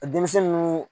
Denmisɛnnu